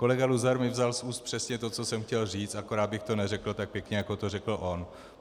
Kolega Luzar mi vzal z úst přesně to, co jsem chtěl říct, akorát bych to neřekl tak pěkně, jako to řekl on.